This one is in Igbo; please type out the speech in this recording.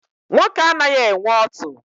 Nwoke anaghị enwe ọtụ.